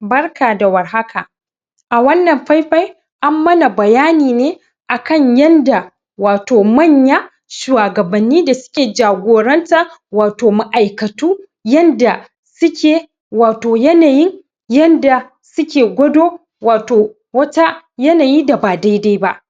Barka da warhaka a wannan faifai ammana bayanine akan yanda wato manya shuwa gabanni da suke jagoranta wato ma aikatu yanda suke wato yanayin yanda suke gwado wato wata yanayi daba dedai ba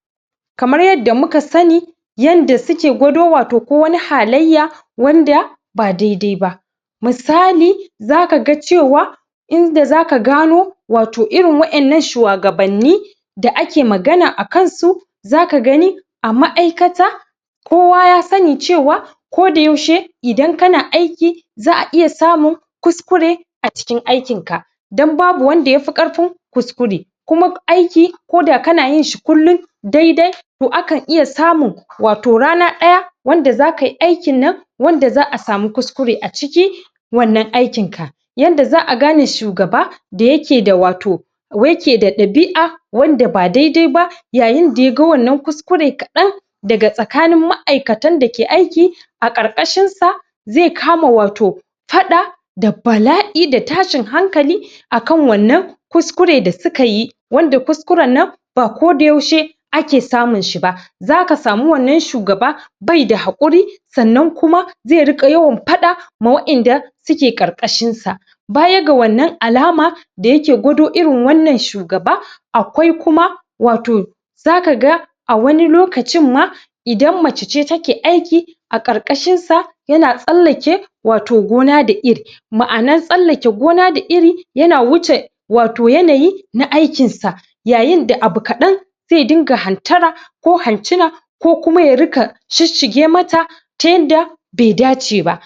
kamar yarda muka sani yanda suke gwado wato ko wani halaiya wanda ba dedaiba musali zakaga cewa inda zaka gano wato irin wayannan suwa ga banni da ake magana akansu zakagani a ma aikata kowa ya sani cewa ko da yaushe idan kana aiki za a iya samun kuskure acikin aikinka dan babu wanda yafi ƙarfin kuskure kuma aiki koda kanayinshi kullun dedai to akan iya samun wato rana ɗaya wanda zakai aikin nan wanda za a sama kuskure aciki wannan aikin ka yanda za gane shugaba da yake da wato ko yake da ɗabi a wanda ba dedai ba yayin da yaga wannan kuskure kaɗan daga tsakanin ma'aikatan dake aiki a ƙarƙashin sa ze kama wato faɗa da bala'i da tashin hankali akan wannan kuskure da sukayi wanda kuskurannan ba ko da yaushe ake samun shiba zaka samu wannan shugaba be da haƙuri sannan kuma ze riƙa yawan faɗa ma wayanda suke ƙarƙashin sa baya ga wannan alama da yake gwado irin wannan shugaba akwai kuma wato zakaga a wani lokacinma idan mace ce take aiki aƙar ƙashin sa yana tsallake wato gona da iri ma anan tsallake gona da iri yana wuce wato yanayi na aikin sa yayin da abu kaɗan ze dinga hantara ko han cina ko kuma ya riƙa shish shige mata ta yadda be daceba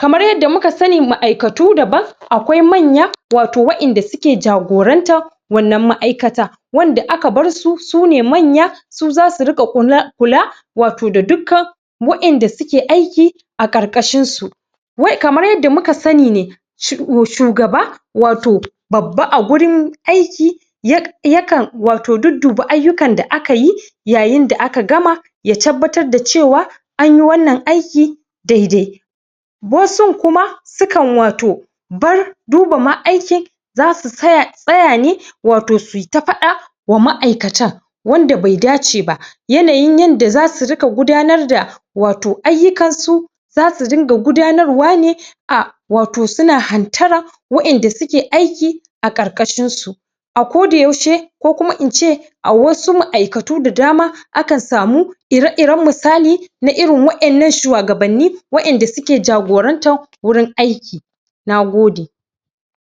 kaman yarda mukasani ma'aikatu daban akwai manya wato wayanda suke jagoranta wanan ma'aikata wanda aka barsu sune manya su zasu riƙa kula wato da dukkan wayanda suke aiki aƙar ƙashin su wai kamar yarda muka sani ne shugaba wato babba agurin aiki yakan wato dudduba aiyukan da akayi yayin da aka gama ya tabbatar da cewa anyi wannan aiki dedai wasun kuma sukan wato bar dubama aikin zasu tsaya ne wato suita faɗa wa ma aikatan wanda be dace yanayin yanda zasu riƙa gudanar da wato aiyukansu zasu dunga gudanarwane a wato suna hantaran wayanda suke aiki aƙarƙashin su a koda yaushe ko kuma ince a wasu ma'aikatu da dama akan samu ira iran musali na irin wayannan shuwa gabanni wayanda suke jagoranta wurin aiki nagode